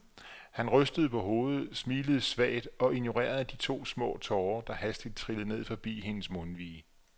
Han rystede på hovedet, smilede svagt og ignorerede de to små tårer, der hastigt trillede ned forbi hendes mundvige.